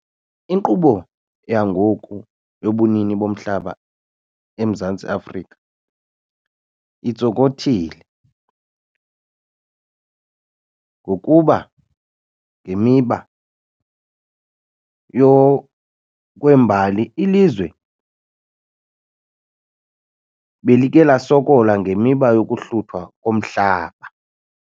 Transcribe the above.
Inkqubo yangoku yobunini bomhlaba eMzantsi Afrika intsokothile ngokuba ngemiba yokwembali ilizwe belike lasokola ngemiba yokuhluthwa komhlaba.